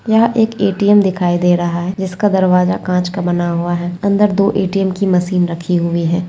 यहाँ एक ए.टी.एम दिखाई दे रहा है जिसका दरवाजा कांच का बना हुआ है अंदर दो ए.टी.एम की मशीन रखी हुई है।